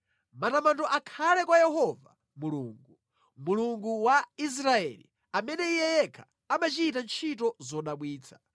Matamando akhale kwa Yehova Mulungu, Mulungu wa Israeli amene Iye yekha amachita ntchito zodabwitsa.